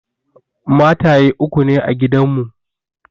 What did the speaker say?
Mataye uku ne a gidan mu.